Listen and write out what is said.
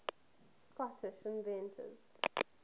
scottish inventors